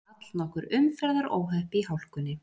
Allnokkur umferðaróhöpp í hálkunni